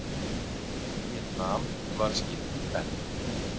Víetnam var skipt í tvennt.